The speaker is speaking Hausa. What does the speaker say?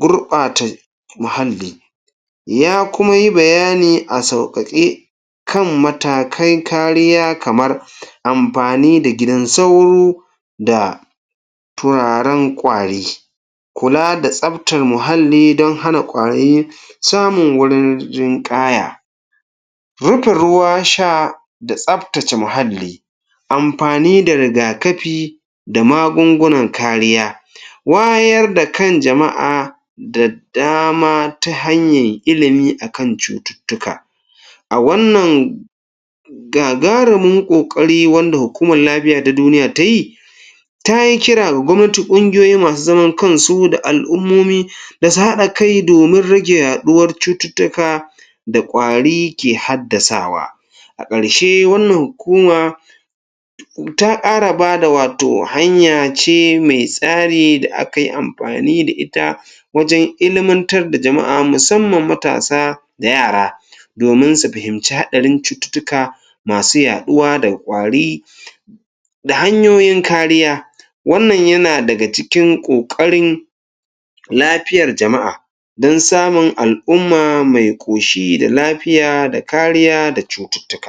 gurɓata muhalli Ya kuma yi bayani a sauƙaƙe kan matakai kariya kamar amfani da gidan sauro da turaren ƙwari. Kula da tsaftar muhalli don hana ƙwari samun wurin jinƙaya Rufe ruwa sha da tsaftace muhalli, amfani da riga-kafi da magungunan kariya Wayar da kan jama'a da dama ta hanyar ilimi a kan cututtuka a wannan. A wannan gagarumin ƙoƙari wanda hukumar lafiya ta duniya ta yi ta yi kira da gwamnati, ƙungiyoyi masu zaman kansu da al'ummomi da su haɗa kai domin rage yaɗuwar cututtuka da ƙwari ke haddasawa. A ƙarshe, wannan hukuma ta ƙara ba da wato hanya ce mai tsari da aka yi amfani da ita wajen ilimantar da jama'a musamman matasa da yara domin su fahimci haɗarin cututtuka masu yaɗuwa da ƙwari da hanyoyin kariya. Wannan yana daga cikin ƙoƙarin lafiyar jama'a don samun al'umma mai ƙoshi da lafiya da kariya da cututtuka.